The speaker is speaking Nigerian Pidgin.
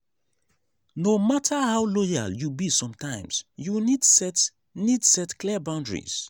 no matter how loyal you be sometimes you need set need set clear boundaries.